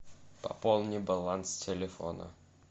пополни баланс телефона